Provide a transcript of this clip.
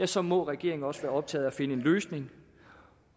så må regeringen også være optaget af at finde en løsning